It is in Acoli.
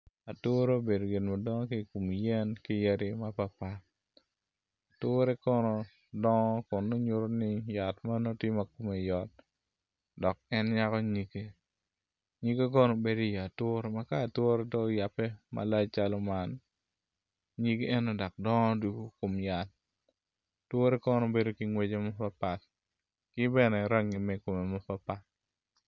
Ature obedo gin madongo ki kin yen ki yadi mapapat ature kono dongo kun nongo nyuto ni yat man tye ma kome yot dok en nyako nyige nyige kono bedo i wi ature wek ka ature do oyabe malac calo man, nyige eni dok dongo doko kom yat ature kono bedo ki ngwec mapapat ki bene rangi me komme mapapat.